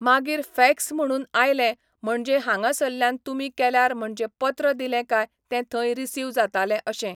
मागीर फॅक्स म्हणून आयलें म्हणजें हांगासरल्यान तुमी केल्यार म्हणजें पत्र दिलें काय तें थंय रिसीव जातालें अशें.